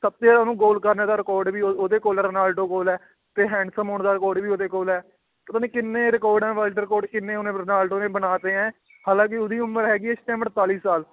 ਸਭ ਤੋਂ ਜ਼ਿਆਦਾ ਉਹਨੂੰ ਗੋਲ ਕਰਨੇ ਦਾ record ਵੀ ਉਹ, ਉਹਦੇ ਕੋਲ ਹੈ, ਰੋਨਾਲਡੋ ਕੋਲ ਹੈ, ਤੇ handsome ਹੋਣ ਦਾ record ਵੀ ਉਹਦੇ ਕੋਲ ਹੈ, ਪਤਾ ਨੀ ਕਿੰਨੇ record ਹੈ world record ਕਿੰਨੇ ਉਹਨੇ ਰੋਨਾਲਡੋ ਨੇ ਬਣਾ ਤੇ ਹੈ ਹਾਲਾਂਕਿ ਉਹਦੀ ਉਮਰ ਹੈਗੀ ਹੈ ਇਸ time ਅੜਤਾਲੀ ਸਾਲ।